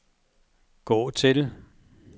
gå til